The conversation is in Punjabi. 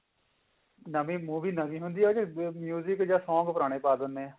movie ਨਵੀਂ ਹੁੰਦੀ ਆ ਉਹਦੇ ਚ ਜਾਂ song ਪੁਰਾਣੇ ਪਾ ਦਿੰਦੇ ਆ